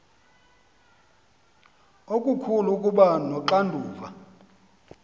okukhulu ukuba noxanduva